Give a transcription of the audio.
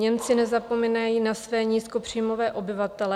Němci nezapomínají na své nízkopříjmové obyvatele.